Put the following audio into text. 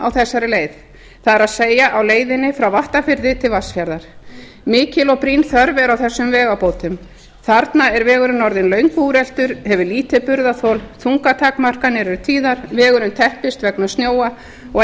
á þessari leið það er á leiðinni frá vattarfirði til vatnsfjarðar mikil og brýn þörf er á þessum vegabótum þarna er vegurinn orðinn löngu úreltur hefur lítið burðarþol þungatakmarkanir eru tíðar vegurinn teppist vegna snjóa og